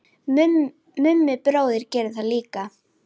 Mummi bróðir gerði það líka.